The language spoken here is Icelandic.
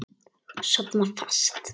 Sofna fast.